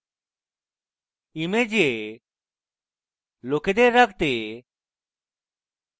image লোকেদের রাখতে